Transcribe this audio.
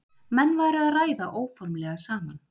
Menn væru að ræða óformlega saman